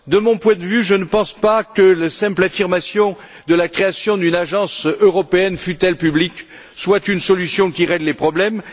De mon point de vue, je ne pense pas que la simple affirmation de la création d'une agence européenne, fût elle publique, soit une solution qui règle les problèmes.